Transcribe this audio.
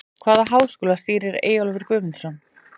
Hvaða háskóla stýrir Eyjólfur Guðmundsson?